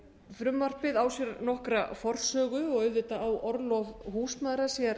frumvarpið á sér nokkra forsögu og auðvitað á orlof húsmæðra sér